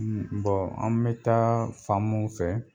an mi taa fanmu fɛ